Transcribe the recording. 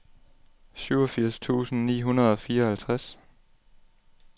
syvogfirs tusind ni hundrede og fireoghalvtreds